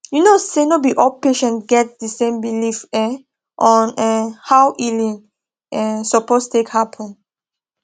you know say no be all patients get the same belief um on um how healing um suppose take happen